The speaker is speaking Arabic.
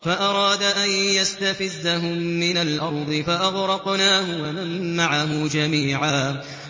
فَأَرَادَ أَن يَسْتَفِزَّهُم مِّنَ الْأَرْضِ فَأَغْرَقْنَاهُ وَمَن مَّعَهُ جَمِيعًا